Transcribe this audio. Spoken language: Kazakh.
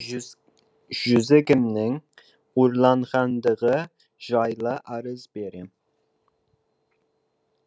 жүзігімнің ұрланғандығы жайлы арыз берем